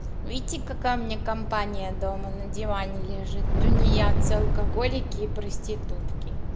видите какая у меня компания дома на диване лежит тунеядцы алкоголики и проститутки